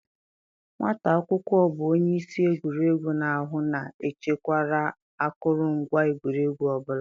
Nwata akwụkwọ bụ onye isi egwuregwu na-ahụ na echekwara akụrụngwa egwuregwu ọ bụla.